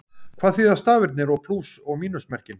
hvað þýða stafirnir og plús og mínusmerkin